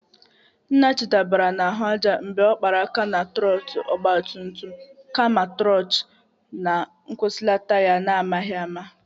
Nnachi dabara n'ahụ aja mgbe ọ kpara aka na trọtul ọgbatumtum kama na nkwusilata ya n'amaghị ama.